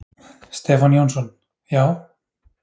Stefán Jónsson: Já.